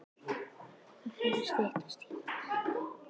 Það fer að styttast í það.